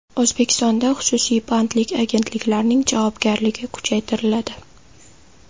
O‘zbekistonda xususiy bandlik agentliklarining javobgarligi kuchaytiriladi.